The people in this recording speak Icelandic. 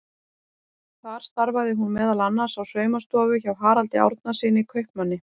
Þar starfaði hún meðal annars á saumastofu hjá Haraldi Árnasyni kaupmanni.